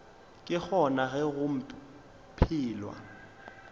ke gona ge go phelwa